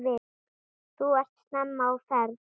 Þú ert snemma á ferð!